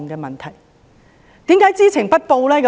為何知情不報呢？